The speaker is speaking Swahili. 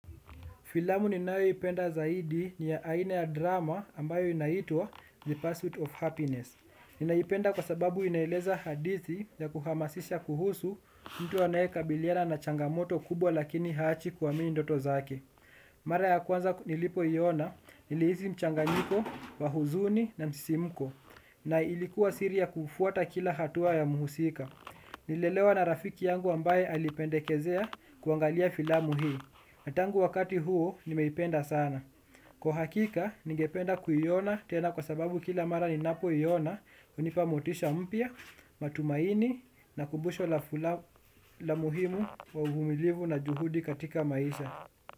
Filamu ninayo ipenda zaidi ni ya aina ya drama, ambayo inaitwa The Pursuit of Happiness. Ninaipenda kwa sababu inaeleza hadithi ya kuhamasisha kuhusu, mtu anaye kabiliana na changamoto kubwa lakini haachi kuamini ndoto zake. Mara ya kwanza nilipo iona, nilihisi mchanganyiko wa huzuni na msisimuko. Na ilikuwa siri ya kufuata kila hatua ya mhusika. Nilielezewa na rafiki yangu ambaye alipendekezea, kuangalia filamu hii. Na tangu wakati huo nimeipenda sana. Kwa hakika, nigependa kuiona tena kwa sababu kila mara ninapo iona, hunipa motisha mpia, matumaini na kumbusho la muhimu wa uhumilivu na juhudi katika maisha.